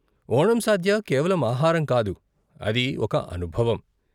ఓణం సాద్య కేవలం ఆహారం కాదు, అది ఒక అనుభవం.